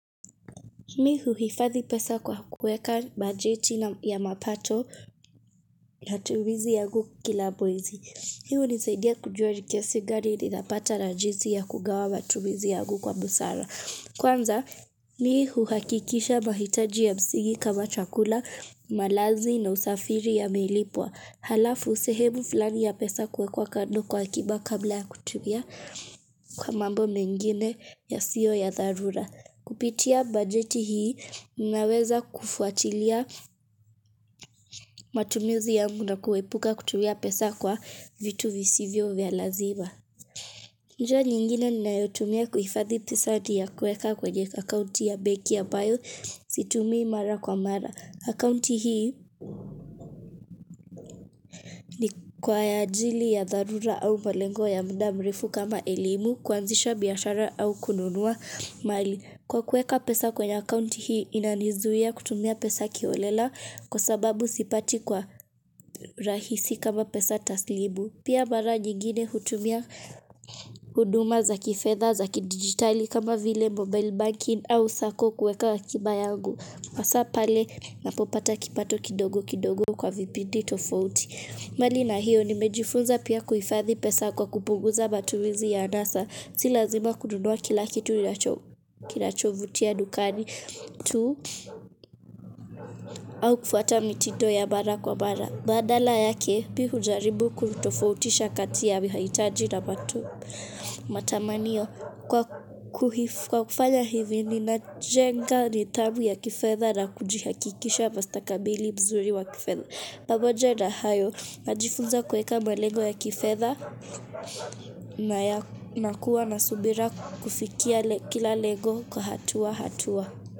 Mi huhifadhi pesa kwa kuweka bajeti ya mapato na tumizi yangu kila mwezi. Hii hunisaidia kujua ni kiasi gani ninapata na jinsi ya kugawa matumizi yangu kwa busara Kwanza mi huhakikisha mahitaji ya msingi kama chakula malazi na usafiri yamelipwa. Halafu sehemu fulani ya pesa kuwekwa kando kwa akiba kabla ya kutumia kwa mambo mengine yasio ya dharura. Kupitia bajeti hii ninaweza kufuatilia matumizi yangu na kuepuka kutumia pesa kwa vitu visivyo vya lazima njia nyingine ninayotumia kuhifadhi pesa ni ya kuweka kwenye akaunti ya benki ambayo situmii mara kwa mara akaunti hii ni kwa ajili ya dharura au malengo ya muda mrefu kama elimu kuanzisha biashara au kununua mali Kwa kuweka pesa kwenye account hii inanizuia kutumia pesa kiholela kwa sababu sipati kwa rahisi kama pesa taslimu Pia mara nyingine hutumia huduma za kifedha za kidijitali kama vile mobile banking au sacco kuweka akiba yangu hasaa pale napopata kipato kidogo kidogo kwa vipindi tofouti mbali na hiyo nimejifunza pia kuhifadhi pesa kwa kupunguza matumizi ya anasa Si lazima kununua kila kitu kinachovutia dukani tu au kufuata mitindo ya mara kwa mara Badala yake mi hujaribu kutofautisha kati ya mahitaji na matamanio. Kwa kufanya hivi ninajenga nidhamu ya kifedha na kujihakikisha mustakabali mzuri wa kifedha. Pamoja na hayo najifunza kuweka malengo ya kifedha na kuwa na subira kufikia kila lengo kwa hatua hatua.